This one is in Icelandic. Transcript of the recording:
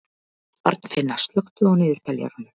Arnfinna, slökktu á niðurteljaranum.